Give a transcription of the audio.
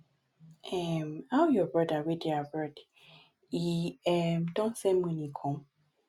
um how your brother wey dey abroad e um don send money come